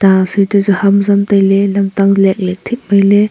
hamzam tailey lamtang leitley thik mailey.